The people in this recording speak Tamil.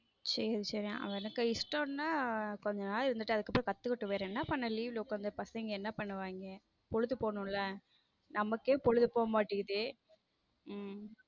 சேரி சேரி அவனுக்கு இஷ்டம்னா கொஞ்ச நாள் இருந்துட்டு அதுக்கப்புறம் கத்துக்கட்டும் வேற என்ன பண் leave ல உட்காந்து பசங்க என்ன பண்ணுவாங்க பொழுது போகணும்ல நமக்கே பொழுது போக மாட்டேங்குத உம்